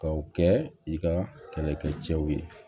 Ka o kɛ i ka kɛlɛkɛ cɛw ye